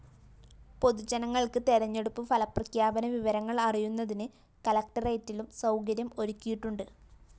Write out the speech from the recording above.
പൊതുജനങ്ങള്‍ക്ക് തെരഞ്ഞെടുപ്പ് ഫലപ്രഖ്യാപന വിവരങ്ങള്‍ അറിയുന്നതിന് കലക്ടറേറ്റിലും സൗകര്യം ഒരുക്കിയിട്ടുണ്ട്